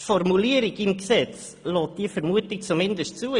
Die Formulierung des Gesetzes lässt diese Vermutung zumindest zu.